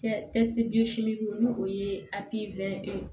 Kɛ n'o o ye